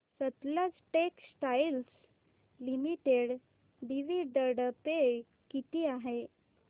Sutlej textiles limited dividend pay किती आहे